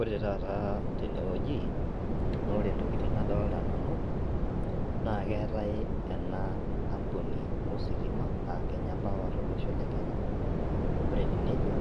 Ore taata tenewoji nore intokiting' nadolta nanu naa keetae ena ampuni ositima aa kenya power tolosho le kenya ore etiu nejia